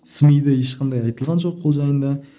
сми де ешқандай айтылған жоқ ол жайында